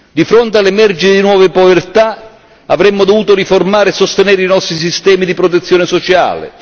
Di fronte all'emergere di nuove povertà, avremmo dovuto riformare e sostenere i nostri sistemi di protezione sociale.